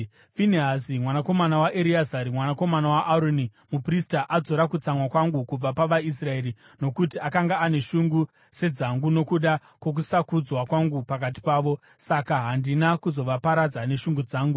“Finehasi mwanakomana waEreazari, mwanakomana waAroni, muprista adzora kutsamwa kwangu kubva pavaIsraeri; nokuti akanga ane shungu sedzangu nokuda kwokusakudzwa kwangu pakati pavo, saka handina kuzovaparadza neshungu dzangu.